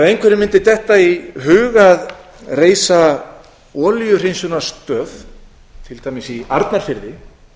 einhverjum mundi detta í hug að reisa olíuhreinsunarstöð til dæmis í arnarfirði